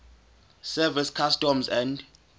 service customs and